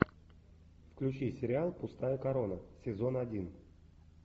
включи сериал пустая корона сезон один